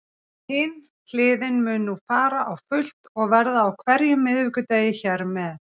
Hin hliðin mun nú fara á fullt og verða á hverjum miðvikudegi hér með.